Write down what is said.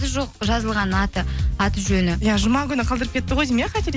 жоқ жазылған аты жөні иә жұма күні қалдырып кетті ғой деймін иә